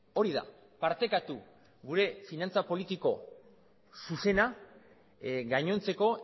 hori da partekatu gure finantza politiko zuzena gainontzeko